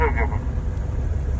Tuap proqramı.